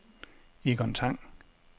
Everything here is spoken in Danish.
Egon Tang